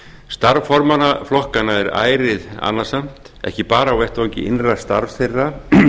starf formanna flokkanna er ærið annasamt ekki bara á vettvangi innra starfs þeirra